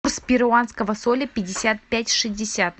курс перуанского соля пятьдесят пять шестьдесят